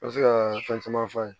N bɛ se ka fɛn caman f'a ye